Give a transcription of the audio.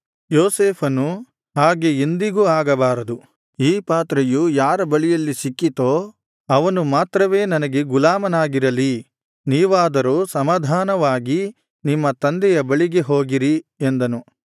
ಯೋಸೇಫನು ಹಾಗೆ ಎಂದಿಗೂ ಆಗಬಾರದು ಈ ಪಾತ್ರೆಯು ಯಾರ ಬಳಿಯಲ್ಲಿ ಸಿಕ್ಕಿತೋ ಅವನು ಮಾತ್ರವೇ ನನಗೆ ಗುಲಾಮನಾಗಿರಲಿ ನೀವಾದರೋ ಸಮಾಧಾನವಾಗಿ ನಿಮ್ಮ ತಂದೆಯ ಬಳಿಗೆ ಹೋಗಿರಿ ಎಂದನು